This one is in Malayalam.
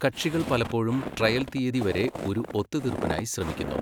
കക്ഷികൾ പലപ്പോഴും ട്രയൽ തീയതി വരെ ഒരു ഒത്തുതീർപ്പിനായി ശ്രമിക്കുന്നു.